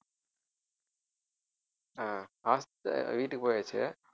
ஆஹ் hos~ வீட்டுக்கு போயாச்சு